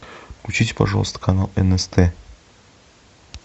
включите пожалуйста канал нст